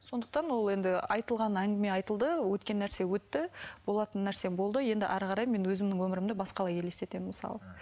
сондықтан ол енді айтылған әңгіме айтылды өткен нәрсе өтті болатын нәрсе болды енді әрі қарай мен өзімнің өмірімді басқалай елестетемін мысалы